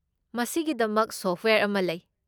ꯃꯁꯤꯒꯤꯗꯃꯛ ꯁꯣꯐꯠꯋꯦꯌꯔ ꯑꯃ ꯂꯩ꯫